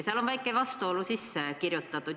Sinna on väike vastuolu sisse kirjutatud.